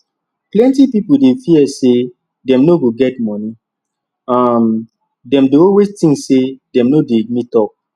plenty pipo dey fear say dem no go get money um dem dey always think say dem no dey meet up